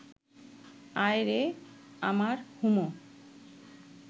আয় রে আমার হুমো